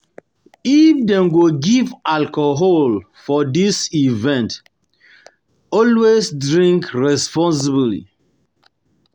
If dem go give alcohol for di event, always drink responsibly drink responsibly